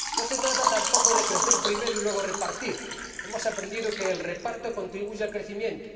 No se trata tampoco de crecer primero y luego repartir hemos aprendido que el reparto contribuye al crecimiento.